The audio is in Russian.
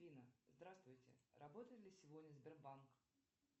афина здравствуйте работает ли сегодня сбербанк